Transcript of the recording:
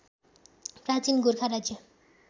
प्राचीन गोरखा राज्य